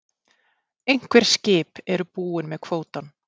Einhver skip eru búin með kvótann